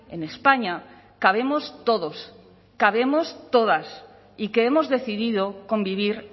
en españa cabemos todos cabemos todas y que hemos decidido convivir